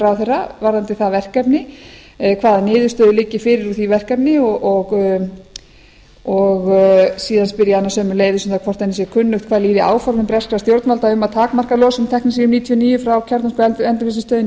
ráðherra varðandi það verkefni hvaða niðurstöður liggi fyrir úr því verkefni og síðan spyr ég hana sömuleiðis hvort henni sé kunnugt um hvað líði áformum breska stjórnvalda um að takmarka losun teknesíum níutíu og níu ári kjarnorkuendurvinnslustöðinni